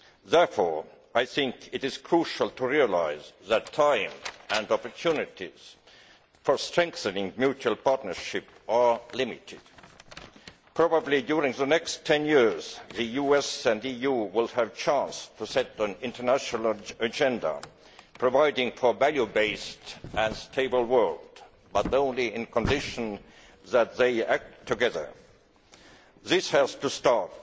Therefore, it is crucial to recognise that time and opportunities for strengthening mutual partnership are limited. Probably during the next 10 years, the US and EU will have a chance to set an international agenda providing for a value based and stable world, but only on condition that they act together. This has to start